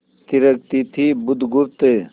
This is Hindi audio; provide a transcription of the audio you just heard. थिरकती थी बुधगुप्त